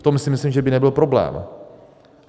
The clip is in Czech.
V tom si myslím, že by nebyl problém.